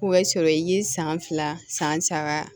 O bɛ sɔrɔ i ye san fila san saba